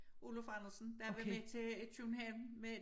Oluf Andersen der var med til i København med